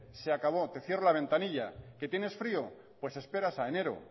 se acabó te cierro la ventanilla que tienes frío pues esperas a enero